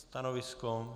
Stanovisko?